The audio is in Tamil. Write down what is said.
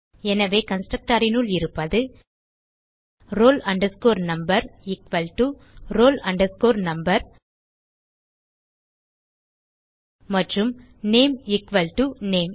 எனவே கன்ஸ்ட்ரக்டர் னுள் இருப்பது roll number equal to roll number மற்றும் நேம் எக்குவல் டோ நேம்